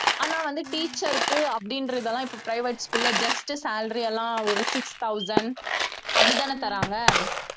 ஆனா வந்து teacher க்கு அப்படின்றதெல்லாம் இப்ப private school ல just salary எல்லாம் ஒரு six thousand அப்படித்தானே தர்றாங்க